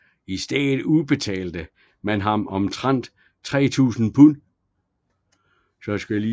I stedet udbetalte man ham omtrent 3000 pund